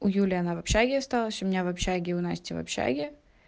у юли она в общаге осталась у меня в общаге у насти в общаге